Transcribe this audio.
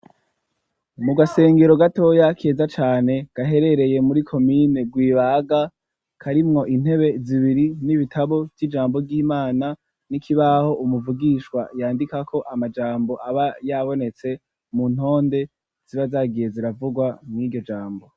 Mu gasengero gatoya keza cane gaherereye muri komine rwibaga karimwo intebe zibiri n'ibitabo vy'ijambo ry'imana n'ikibaho umuvugishwa yandika ko amajambo aba yabonetse mu ntonde ziba zagiye ziravugwa mw'iryo jambo.